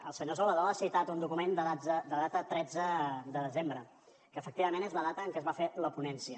el senyor salvadó ha citat un document de data tretze de desembre que efectivament és la data en què es va fer la ponència